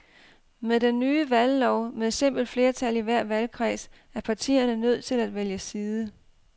Med den nye valglov med simpelt flertal i hver valgkreds er partierne nødt til at vælge side.